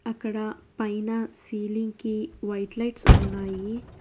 అక్కడ పైన సీలింగ్ కి వైట్ లైట్స్ ఉన్నాయి.